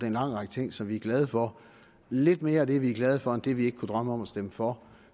en lang række ting som vi er glade for lidt mere af det vi er glade for end af det vi ikke kunne drømme om at stemme for